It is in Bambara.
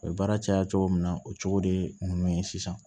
O ye baara caya cogo min na o cogo de ye ninnu ye sisan